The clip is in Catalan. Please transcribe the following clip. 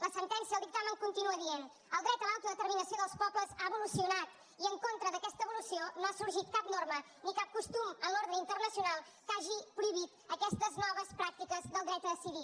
la sentència el dictamen continua dient el dret a l’autodeterminació dels pobles ha evolucionat i en contra d’aquesta evolució no ha sorgit cap norma ni cap costum en l’ordre internacional que hagi prohibit aquestes noves pràctiques del dret a decidir